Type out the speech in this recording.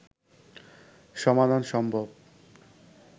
সমাধান সম্ভব